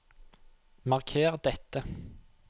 Marker dette